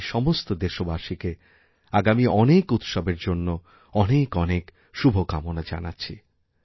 আমি সমস্ত দেশবাসীকে আগামী অনেকউৎসবের জন্য অনেক অনেক শুভকামনা জানাচ্ছি